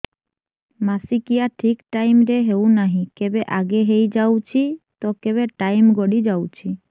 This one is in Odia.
ମାସିକିଆ ଠିକ ଟାଇମ ରେ ହେଉନାହଁ କେବେ ଆଗେ ହେଇଯାଉଛି ତ କେବେ ଟାଇମ ଗଡି ଯାଉଛି